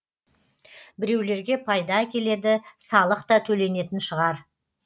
біреулерге пайда әкеледі салық та төленетін шығар